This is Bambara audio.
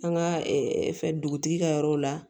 An ka fɛn dugutigi ka yɔrɔw la